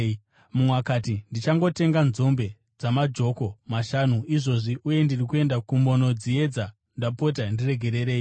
“Mumwe akati, ‘Ndichangotenga nzombe dzamajoko mashanu izvozvi, uye ndiri kuenda kumbondodziedza. Ndapota ndiregererei.’